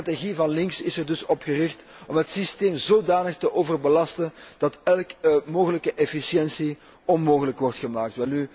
De strategie van links is er dus op gericht om het systeem zodanig te overbelasten dat elke mogelijke efficiëntie onmogelijk wordt gemaakt.